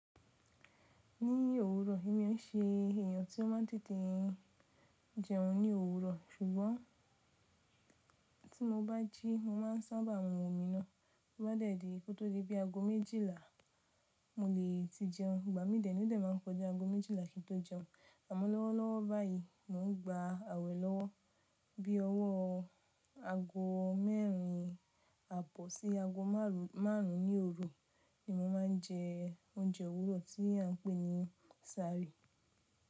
Ní òwúrọ̀ èmi o n se èèyàn tí ó má ń tètè jẹun ní òwúrọ̀ ṣùgbọ́n tí mo bá jí mo má ń sábà mu omi náà, to bá de dì kó tó di bí ago méjìlá mo le ti jẹun. Ìgbà mí dẹ̀ni o de ma ń kọjá ago méjìlá kí n tó jẹun àmọ́ lọ́wọ́lọ́wọ́ báyìí mò ń gba àwẹ̀ lọ́wọ́ bí ọwọ́ ago mẹ́rin àbọ̀ sí ago márùn ún ní òru ni mo ma ń jẹ oúnjẹ òwúrọ̀ tí à ń pè ní sáàrì.